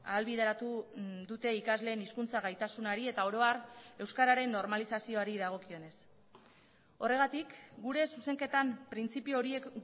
ahalbideratu dute ikasleen hizkuntza gaitasunari eta oro har euskararen normalizazioari dagokionez horregatik gure zuzenketan printzipio horiek